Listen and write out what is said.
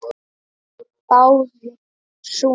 Báðir sungu.